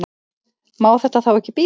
Má þetta þá ekki bíða?